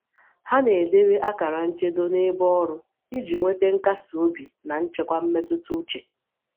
Hà na-edebe akara nchedo n’ebe ọrụ iji nweta nkasi obi na nchekwà mmetụta uche.